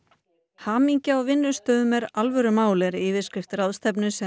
hamingja á vinnustöðum er alvörumál er yfirskrift ráðstefnu sem